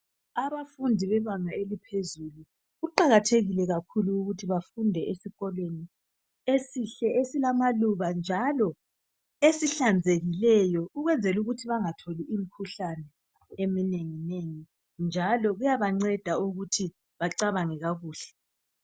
Abafundi bebanga eliphezulu kuqakathekile ukuthi bafunde esikolweni esihle esilamaluba njalo ezihlanzekileyo ukwenzela ukuthi bengatholi imikhuhlane eminengi nengi njalo kuyaba ngceda ukuthi becabange kakuhle